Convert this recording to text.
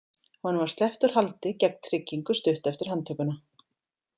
Honum var sleppt úr haldi gegn tryggingu stuttu eftir handtökuna.